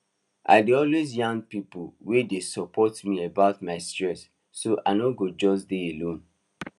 i dey always yarn people wey dey support me about my stress so i no go just dey alone